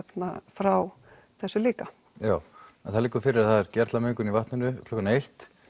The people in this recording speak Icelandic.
frá þessu líka já en það liggur fyrir að það er gerlamengn í vatninu klukkan eitt